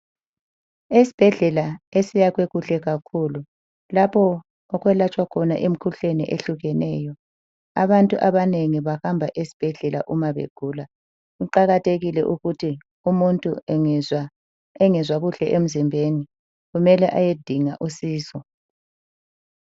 Esibhedlela esiyakhwe kuhle kakhulu lapho okwelatshwa khona imikhuhlane ehlukeneyo. Abantu abanengi bahamba esibhedlela uma begula. Kuqakathekile ukuthi umuntu engezwa engezwa kuhle emzimbeni kumele ayedinga usizo.